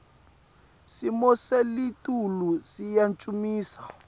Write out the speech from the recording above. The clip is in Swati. simo selitulu siyancumisa